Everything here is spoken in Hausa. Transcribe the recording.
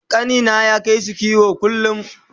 ƙanina yake kaisu kiwo kullum